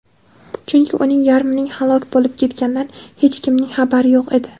chunki uning yarmining halok bo‘lib ketganidan hech kimning xabari yo‘q edi.